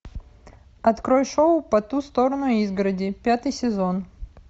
открой шоу по ту сторону изгороди пятый сезон